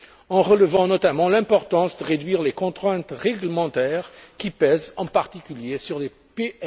en relevant notamment l'importance de réduire les contraintes réglementaires qui pèsent en particulier sur les PME.